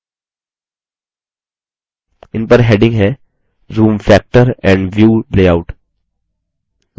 इन पर headings है zoom factorand view layout